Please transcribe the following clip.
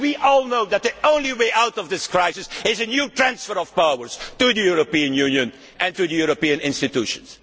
We all know that the only way out of this crisis is a new transfer of powers to the European Union and to the European institutions.